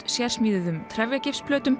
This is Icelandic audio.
sérsmíðuðum